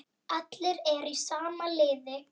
Allir eru í sama liði.